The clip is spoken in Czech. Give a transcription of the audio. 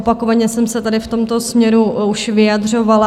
Opakovaně jsem se tady v tomto směru už vyjadřovala.